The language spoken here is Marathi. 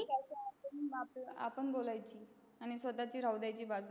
आपण बोलायची आणि स्वतची राहू द्यायची बाजूला